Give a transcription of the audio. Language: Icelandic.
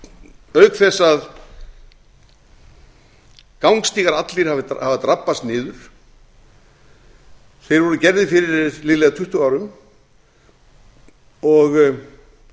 hverasvæðisins auk þess að gangstígar allir hafa drabbast niður þeir voru gerðir fyrir liðlega tuttugu árum og